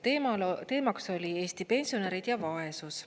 Teemaks oli Eesti pensionärid ja vaesus.